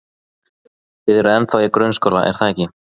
Þið eruð ennþá í grunnskóla, er það ekki?